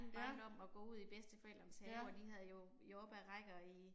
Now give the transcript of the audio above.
Ja. Ja